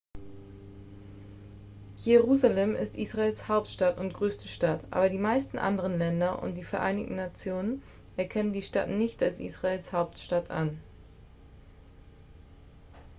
jerusalem ist israels hauptstadt und größte stadt aber die meisten anderen länder und die vereinten nationen erkennen die stadt nicht als israels hauptstadt an